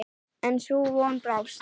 En sú von brást.